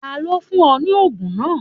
Tani o fun ọ ni oogun naa?